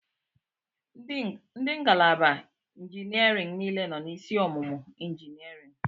Ndị ngalaba injiniarịn niile nọ n'isi ọmụmụ injiniarịn.